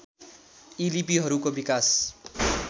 यी लिपिहरूको विकास